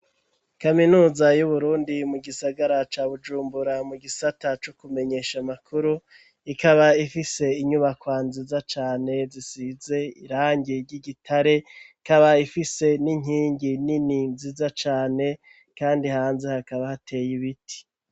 Kaminuza y'u Burundi mu gisagara ca Bujumbura mu gisata co kumenyesha amakuru ikaba ifise inyubakwa nziza cane zisize irangi ry'igitare ikaba ifise n'inkingi nini ziza cane kandi hanze hakaba hateye ibiti.